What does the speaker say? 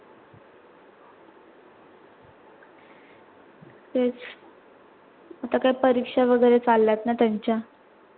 तेच आता काय परीक्षा वगैरे चालल्यात ना त्यांच्या